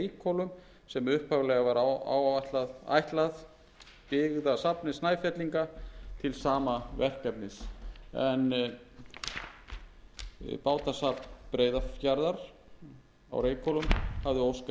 upphaflega var ætlað byggðasafni snæfellinga til sama verkefnis en bátasafn breiðafjarðar á reykhólum hafði óskað eftir tilflutningi á